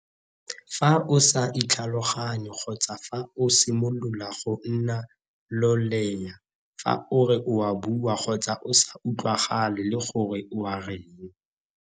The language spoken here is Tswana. Fa o sa itlhaloganye kgotsa fa o simolola go nna loleya fa o re o a bua kgotsa o sa utlwagale le gore o a reng.